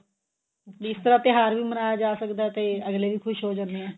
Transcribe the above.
ਵੀ ਇਸ ਤਰ੍ਹਾਂ ਤਿਉਹਾਰ ਵੀ ਮਨਾਇਆ ਜਾ ਸਕਦਾ ਤੇ ਅਗਲੇ ਵੀ ਖੁਸ਼ ਹੋ ਜਾਂਦੇ ਨੇ